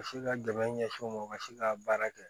U bɛ se ka dɛmɛ ɲɛsin u ma u ka se ka baara kɛ